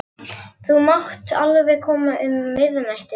Þú mátt alveg koma um miðnættið.